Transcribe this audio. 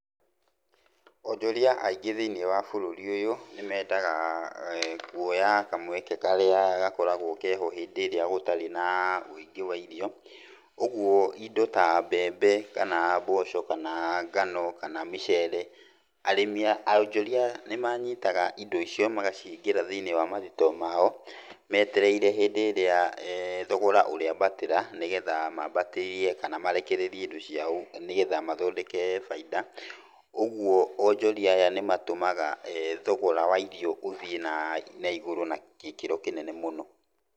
Onjoria aingĩ thiĩniĩ wa bũrũri ũyũ nĩ mendaga kuoya kamweke karĩa gakoragwo keho hĩndĩ ĩrĩa gũtarĩ na wũingĩ wa irio. ũguo indo ta mbembe, kana mboco, kana ngano, kana mĩcere, arĩmi, onjoria nĩ manyitaga indo icio magacihingĩra thĩiniĩ wa mathitoo mao, metereire hĩndĩ ĩrĩa thogora ũrĩambatĩra, nĩgetha mambatĩrie kana marekererie indo ciao, nĩgetha mathondeke bainda. Ũguo onjoria aya nĩ matũmaga thogora wa irio ũthiĩ na na igũrũ na gĩkĩro kĩnene mũno.